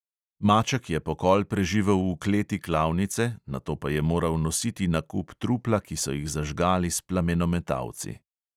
Maček je pokol preživel v kleti klavnice, nato pa je moral nositi na kup trupla, ki so jih zažgali s plamenometalci.